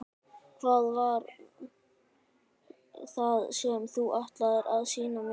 Hvað var það sem þú ætlaðir að sýna mér?